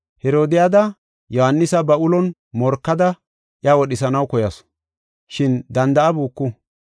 Herodiyada Yohaanisa ba ulon morkada iya wodhisanaw koyasu, shin danda7abuku.